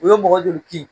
U ye mɔgɔ joli kin